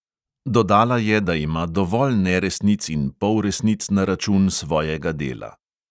Dodala je, da ima dovolj neresnic in polresnic na račun svojega dela.